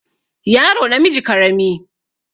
yaro namiji karami